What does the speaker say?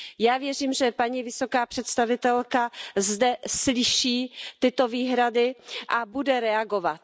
Já věřím, že paní vysoká představitelka zde slyší tyto výhrady a bude reagovat.